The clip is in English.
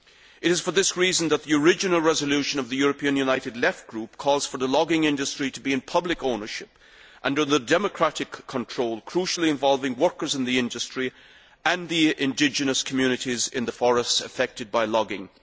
It is for this reason that the original resolution of the European United Left Group calls for the logging industry to be in public ownership and under democratic control, crucially involving workers in the industry and the indigenous communities in the forests affected by logging.